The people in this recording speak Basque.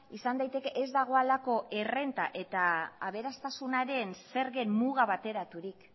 izan daiteke ez dagoelako errenta eta aberastasunaren zergen muga bateraturik